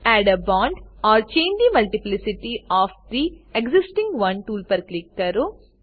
add a bond or change the multiplicity of the existing one tool પર click કરો